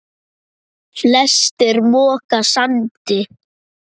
Flestir moka sandi.